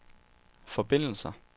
forbindelser